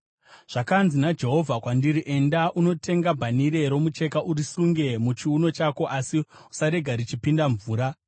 Zvakanzi naJehovha kwandiri: “Enda unotenga bhanhire romucheka urisunge muchiuno chako, asi usarege richipinda mvura,”